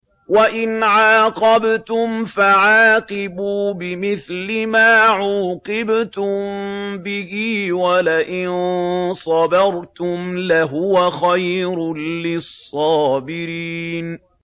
وَإِنْ عَاقَبْتُمْ فَعَاقِبُوا بِمِثْلِ مَا عُوقِبْتُم بِهِ ۖ وَلَئِن صَبَرْتُمْ لَهُوَ خَيْرٌ لِّلصَّابِرِينَ